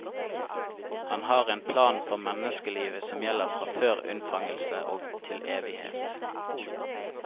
Han har en plan for menneskelivet som gjelder fra før unnfangelse og til evighet.